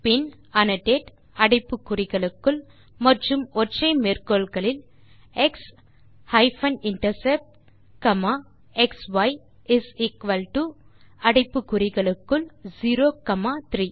பின் annotated அடைப்பு குறிகளுக்குள் மற்றும் ஒற்றை மேற்கோள்களில் x hyphen intercept comma xi is equal to அடைப்பு குறிகளுக்குள் 0 காமா 3